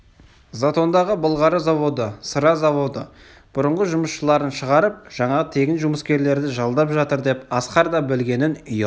затондағы былғары заводы сыра заводы бұрынғы жұмысшыларын шығарып жаңағы тегін жұмыскерді жалдап жатыр деп асқар да білгенін ұяла